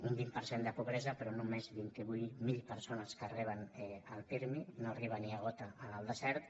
un vint per cent de pobresa però només vint vuit mil persones que re·ben el pirmi no arriba ni a gota en el desert